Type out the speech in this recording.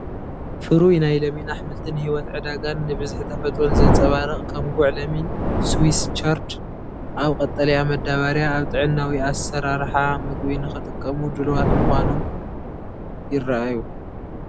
ፍሩይ ናይ ለሚን ኣሕምልቲ ንህይወት ዕዳጋን ንብዝሒ ተፈጥሮን ዘንጸባርቕ ፣ ከም ጉዕ ለሚን ፣ ስዊስ ቻርድ፡ ኣብ ቀጠልያ መዳበርያ ፡ ኣብ ጥዕናዊ ኣሰራርሓ ምግቢ ንኽጥቀሙ ድሉዋት ኮይኖም ይረኣዩ፡፡